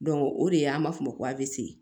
o de ye an b'a fɔ o ma ko